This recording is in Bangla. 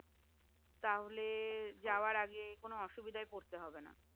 তাহলে যাওয়ার আগে কোন অসুবিধায় পড়তে হবে না